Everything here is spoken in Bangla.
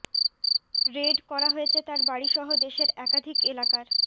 রেড করা হয়েছে তার বাড়ি সহ দেশের একাধিক এলাকার